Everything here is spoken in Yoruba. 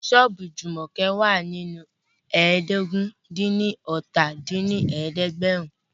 Ṣọ́ọ̀bù Jùmọ̀kẹ́ wà ní ẹ́ẹdógún-dín-ní-ọ́ta dín ní ẹ̀ẹ́dẹ́gbẹ́rún